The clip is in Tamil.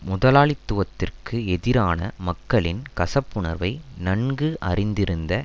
முதலாளித்துவத்திற்கு எதிரான மக்களின் கசப்புணர்வை நன்கு அறிந்திருந்த